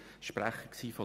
Ich war damals Sprecher